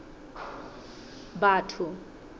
batho